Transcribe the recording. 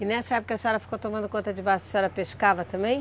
E nessa época a senhora ficou tomando conta de balsa, a senhora pescava também?